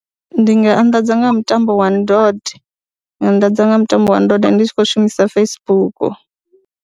Ndi nga anḓadza nga ha mutambo wa ndode nga anḓadza nga mutambo wa ndode ndi tshi khou shumisa Facebook.